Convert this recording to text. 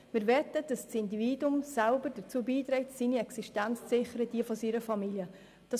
Wir wollen, dass jedes Individuum selber dazu beiträgt, seine Existenz und diejenige seiner Familie zu sichern.